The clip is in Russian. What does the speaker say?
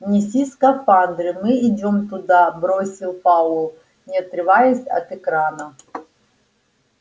неси скафандры мы идём туда бросил пауэлл не отрываясь от экрана